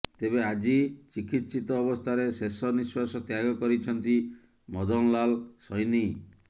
ତେବେ ଆଜି ଚିକିତ୍ସିତ ଅବସ୍ଥାରେ ଶେଷ ନିଶ୍ୱାସ ତ୍ୟାଗ କରିଛନ୍ତି ମଦନଲାଲ ସୈନୀ